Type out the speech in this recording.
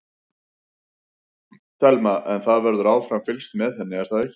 Telma: En það verður áfram fylgst með henni er það ekki?